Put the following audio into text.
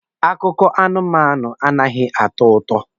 Akụkọ anụmanụ anaghị atọ ụtọ.